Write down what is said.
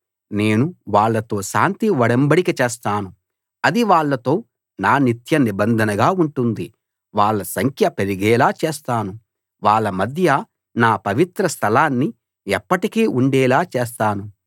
నేను వాళ్ళతో శాంతి ఒడంబడిక చేస్తాను అది వాళ్ళతో నా నిత్య నిబంధనగా ఉంటుంది వాళ్ళ సంఖ్య పెరిగేలా చేస్తాను వాళ్ళ మధ్య నా పవిత్ర స్థలాన్ని ఎప్పటికీ ఉండేలా చేస్తాను